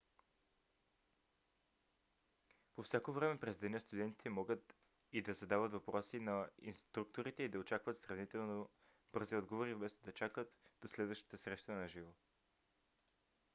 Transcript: по всяко време през деня студентите могат и да задават въпроси на инструкторите и да очакват сравнително бързи отговори вместо да чакат до следващата среща на живо